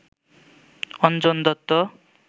Anjan Dutta